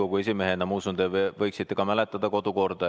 Ma usun, et te endise Riigikogu esimehena võiksite ka mäletada kodukorda.